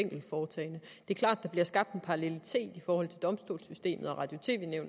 er klart at der bliver skabt en parallelitet i forhold til domstolssystemet og radio